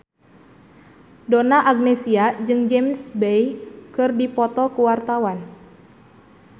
Donna Agnesia jeung James Bay keur dipoto ku wartawan